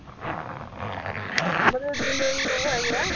ਮਤਲਬ ਜਿੰਨੇ ਵੀ ਉਹ ਹੈਗੇ ਆ